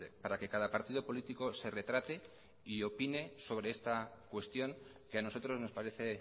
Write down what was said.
para que cada partido político se retrate y opine sobre esta cuestión que a nosotros nos parece